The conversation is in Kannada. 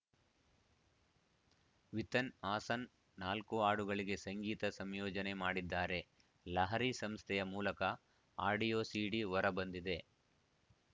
ವಿತನ್‌ ಹಾಸನ್‌ ನಾಲ್ಕು ಹಾಡುಗಳಿಗೆ ಸಂಗೀತ ಸಂಯೋಜನೆ ಮಾಡಿದ್ದಾರೆ ಲಹರಿ ಸಂಸ್ಥೆಯ ಮೂಲಕ ಆಡಿಯೋ ಸೀಡಿ ಹೊರ ಬಂದಿದೆ